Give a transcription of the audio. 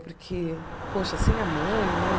Porque, poxa, sem a mãe, né?